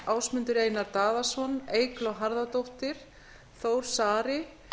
ásmundur einar daðason eygló harðardóttir þór saari